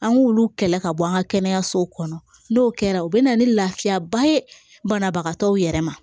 An k'olu kɛlɛ ka bɔ an ka kɛnɛyasow kɔnɔ n'o kɛra o bɛ na ni lafiyaba ye banabagatɔw yɛrɛ ma